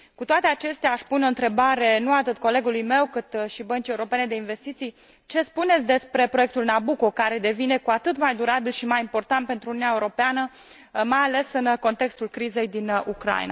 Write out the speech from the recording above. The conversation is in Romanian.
Cu toate acestea, aș pune o întrebare, nu atât colegului meu, cât Băncii Europene de Investiții ce spuneți despre proiectul Nabucco, care devine cu atât mai durabil și mai important pentru Uniunea Europeană, mai ales în contextul crizei din Ucraina?